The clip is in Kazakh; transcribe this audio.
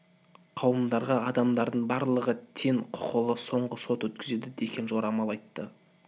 қауымдарға адамдардың барлығы тең құқылы соңғы сот өткізеді деген жорамал айтты